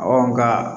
nka